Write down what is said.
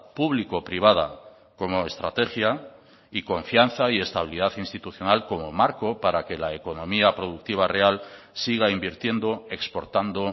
público privada como estrategia y confianza y estabilidad institucional como marco para que la economía productiva real siga invirtiendo exportando